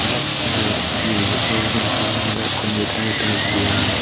as edey hi check gorer hijeni holommulloi computer agey tar diyan.